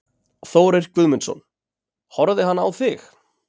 Þórir Guðmundsson: Horfði hann á þig?